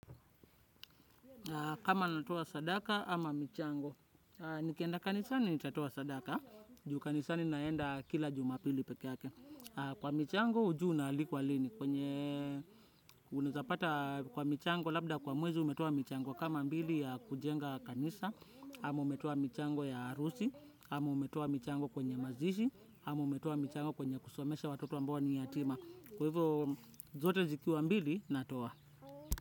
Kama natoa sadaka ama michango. Nikienda kanisa ni natatoa sadaka. Juu kanisa ninaenda kila jumapili pekee. Kwa michango ujui unaalikwa lini, kwenye unazapata kwa michango labda kwa mwezi umetoa michango. Kama mbili ya kujenga kanisa, ama umeto michango ya arusi, hama umetoa michango kwenye mazishi, hama umetow michango kwenye kusomesha watoto ambao ni yatima. Kwa hivyo zote zikiwa mbili natoa.